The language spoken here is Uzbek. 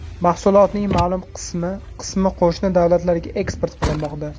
Mahsulotning ma’lum qismi qismi qo‘shni davlatlarga eksport qilinmoqda.